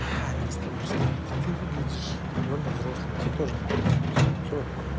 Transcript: алекс ты просто ты выглядишь довольно взрослым тебе тоже к тебе тоже не приебутся всё ок